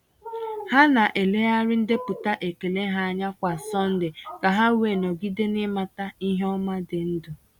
Ha na-elegharị ndepụta ekele ha anya kwa Sọnde ka ha wee nọgide n’ịmata ihe ọma dị ndụ.